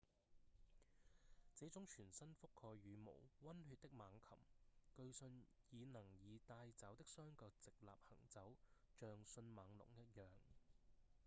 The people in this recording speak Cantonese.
這種全身覆蓋羽毛、溫血的猛禽據信已能以帶爪的雙腳直立行走像迅猛龍一樣